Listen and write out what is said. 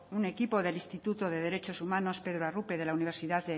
un equipo de instituto de derechos humanos pedro arrupe de la universidad